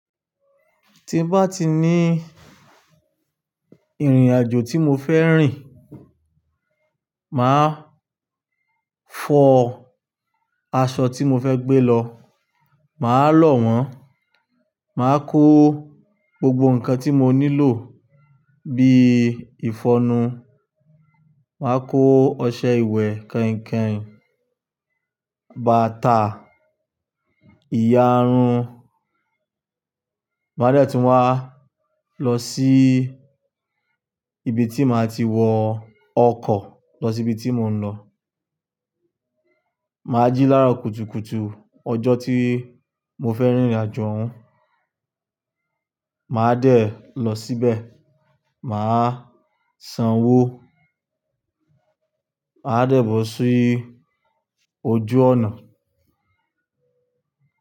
Tí bá ti ní ìrìnàjò tí mo fẹ́ rìn, màá fọ aṣọ tí mo fẹ́ gbé lọ, màá lọ̀ wọ́n, màá kó gbogbo ǹkan tí mo nílò bí i ìfọnú, màá kó ọṣẹ ìwẹ̀ kàin-kàin, bàtà, ìyarun. Màá dẹ̀ tí wa lọ sí ibi tí màá ti wọ ọkọ̀ lọ sí ibi tí mò ń lọ. Màá jí láro kùtùkùtù ọjọ́ tí mo fẹ́ rìnrìnàjò oun, màá dẹ̀ lọ síbẹ̀, màá sanwó, màá dẹ̀ bọ̀ sí ojú ọ̀nà.